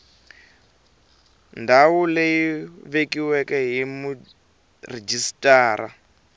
ndhawu leyi vekiweke hi murhijisitara